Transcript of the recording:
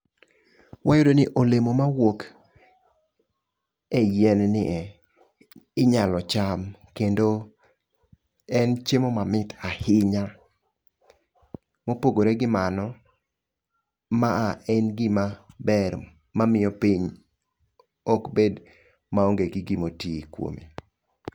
Wayudo ni olemo mawuok e yien ni e inyalo cham. Kendo en chiemo mamit ahinya. Mopogore gi mano, ma a en gima ber mamiyo piny ok bed ma onge gi gimoti kuome.